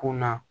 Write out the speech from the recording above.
Kun na